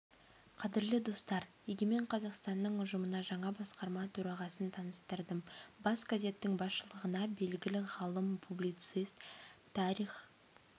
қадірлі достар егемен қазақстанның ұжымына жаңа басқарма төрағасын таныстырдым бас газеттің басшылығына белгілі ғалым публицист тарих